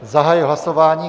Zahajuji hlasování.